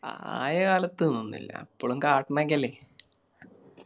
ആയ കാലത്തിന്നൊന്നുല്ല ഇപ്പളും കാട്ടണൊക്കെയല്ലേ